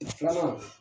Filanan